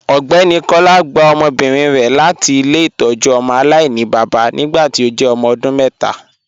Ọgbẹni Kọla gbà ọmọbírin rẹ láti ilẹ̀-itọ́jú ọmọ alainibaba nígbàtí ó jẹ́ ọmọ ọdún mẹta.